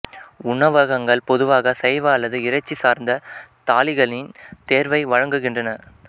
உணவகங்கள் பொதுவாக சைவ அல்லது இறைச்சி சார்ந்த தாலிகளின் தேர்வை வழங்குகின்றன